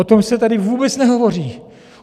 O tom se tady vůbec nehovoří.